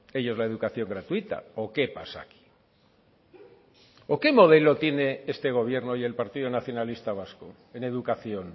ellos la educación gratuita o qué pasa aquí o qué modelo tiene este gobierno y el partido nacionalista vasco en educación